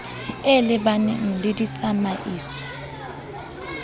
e le baneng le ditsamaiso